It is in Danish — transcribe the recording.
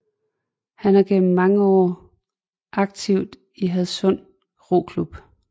Han har gennem mange år aktiv i Hadsund Roklub